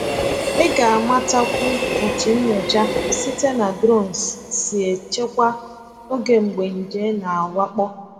Ị ga-amatakwu otú nyocha site na drones si echekwa oge mgbe nje na-awakpo.